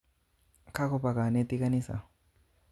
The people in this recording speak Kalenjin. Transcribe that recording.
Kakopa kanetik kanisa.